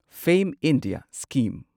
ꯐꯦꯝ India scheme